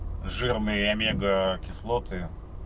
жирные омега кислоты